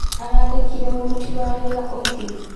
Araandĩkire mũruti wa wĩra ũngĩ.